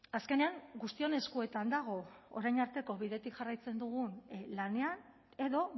azkenean guztion eskuetan dago orain arteko bidetik jarraitzen dugun lanean edo